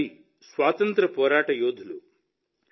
లాలా జీ స్వాతంత్ర్య పోరాట యోధులు